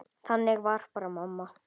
Þannig var bara mamma.